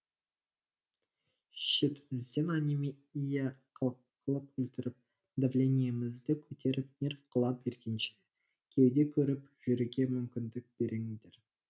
шетімізден анемия қылып өлтіріп давлениемізді көтеріп нерв қыла бергенше кеуде керіп жүруге мүмкіндік беріңдер